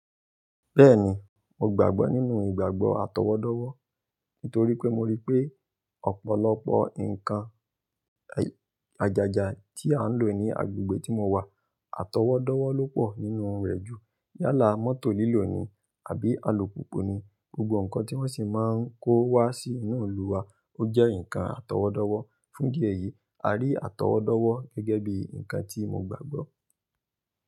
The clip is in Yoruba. Bẹ́ẹ̀ni, mo gbàgbọ́ nínú ìgbàgbọ́ atọwọ́dọ́wọ́ nítorí pé mo rí pé ọ̀pọ̀lọpọ̀ ǹkan àjàjà tí à ń lò ní agbègbè tí mo wà atọwọ́dọ́wọ́ ló pọ̀ nínú rẹ̀ ju, yálà mọ́tò lílò ni àbí alùpùpù ni, gbogbo ǹkan tí wọ́n sì máa ń kó wá sí inú ìlú wa ó jẹ́ ǹkan atọwọ́dọ́wọ́. Fún idi eyìí, a rí atọwọ́dọ́wọ́ gẹ́gẹ́ bí ǹkan tí mo gbàgbọ́.